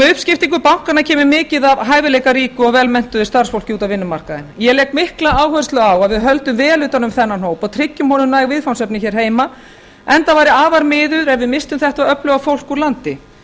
með uppskiptingu bankanna kemur mikið af hæfileikaríku og velmenntuðu starfsfólki út á vinnumarkaðinn ég legg mikla áherslu á að við höldum vel utan um þennan hóp og tryggjum honum næg viðfangsefni hér heima enda væri afar miður ef við misstum þetta öfluga fólk úr landi